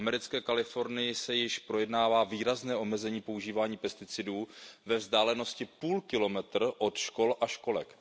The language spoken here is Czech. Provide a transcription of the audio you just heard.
V americké Kalifornii se již projednává výrazné omezení používání pesticidů ve vzdálenosti půl kilometru od škol a školek.